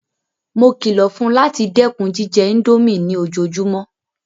Mó kìlọ̀ fún láti dẹ́kun jíjẹ ińdómì ní ojoojúmọ́!